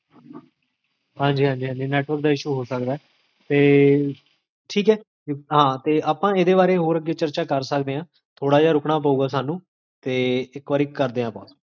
ਹ੍ਜ੍ਕ